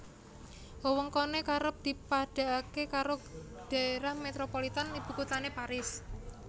Wewengkoné kerep dipadhakké karo dhaerah metropolitan ibukuthané Paris